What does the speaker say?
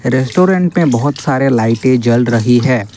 Restaurant पे बहुत सारे लाइटें जल रही है।